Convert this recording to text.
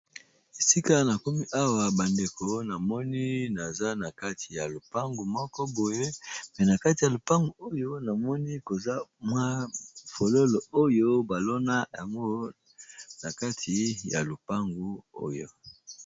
Esika na komi awa ba ndeko na moni naza na kati ya lopangu moko boye pe na kati ya lopangu oyo na moni koza mwa fololo oyo ba lona yango na kati ya lopangu oyo .